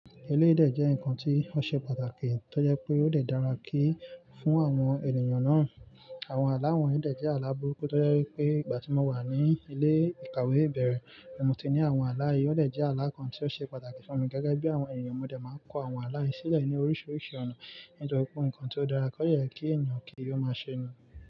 Eléyìí dẹ́ jẹ́ ǹkan tí ó ṣe pàtàkì tó jẹ́ pé ó dàra kí fún àwọn ènìyàn náà. Àwọn àlá wọ̀nyí dè jẹ́ àlá burúkú tó jẹ́ wípé ìgbà tí mo wà ní ilé ìkàwé ìbẹ̀rẹ̀, mo ti ní àwọn aláìyé. Òdè jẹ́ àlá ǹkan tí ó ṣe pàtàkì fún mi gẹ́gẹ́ bí àwọn ènìyàn mò dẹ̀ máa ń kọ àwọn àlá sílẹ̀ ní oríṣiríṣi ọ̀nà nítorí pé ǹkan tí ó dára kọ́ yẹ kí ènìyàn kí ó máa ṣe ni.